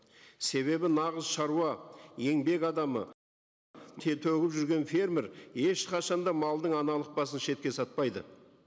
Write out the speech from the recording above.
себебі нағыз шаруа еңбек адамы төгіп жүрген фермер ешқашан да малдың аналық басын шетке сатпайды